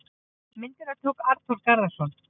Myndina tók Arnþór Garðarsson.